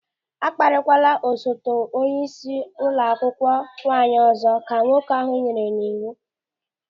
"A kparịkwala osote onyeisi ụlọ akwụkwọ nwaanyị ọzọ," ka nwoke ahụ nyere ya n'iwu.